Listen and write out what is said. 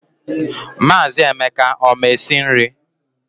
Maazị Emeka ọ ma esi nri?